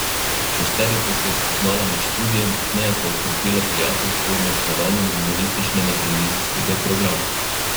Šesterica se je spoznala med študijem, pozneje pa okrepila prijateljstvo med snovanjem humorističnega televizijskega programa.